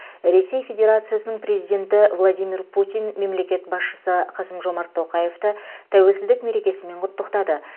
ресей федерациясының президенті владимир путин мемлекет басшысы қасым жомарт тоқаевты тәуелсіздік мерекесімен құттықтады